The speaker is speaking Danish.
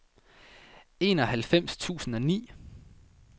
enoghalvfems tusind og ni